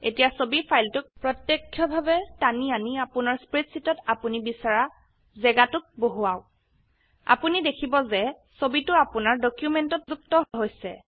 এতিয়া ছবি ফাইলটোক প্ৰত্যক্ষভাবে টানি আনি আপোনাৰ স্প্ৰেডশীটত অাপোনি বিছৰা জেগাটোত বহুৱাওক আপোনি দেখিব যে ছবিটো আপোনাৰ ডকিউমেন্টত যুক্ত হৈছে